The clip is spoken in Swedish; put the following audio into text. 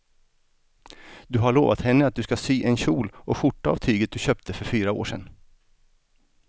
Du har lovat henne att du ska sy en kjol och skjorta av tyget du köpte för fyra år sedan.